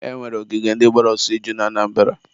e nwere ogige ndị gbara ọsọ iju na Anambara.